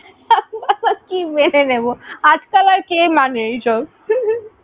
কি মেনে নেবো। আজকাল আর কে মানে এসব?